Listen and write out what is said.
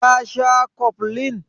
Ka sha koflin?